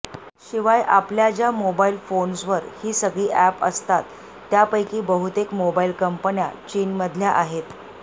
शिवाय आपल्या ज्या मोबाईल फोन्सवर ही सगळी अॅप्स असतात त्यापैकी बहुतेक मोबाईल कंपन्या चीनमधल्या आहेत